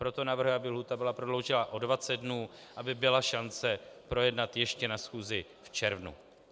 Proto navrhuji, aby lhůta byla prodloužena o 20 dnů, aby byla šance projednat ještě na schůzi v červnu.